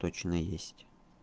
точно есть